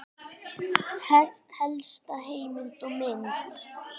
Helsta heimild og mynd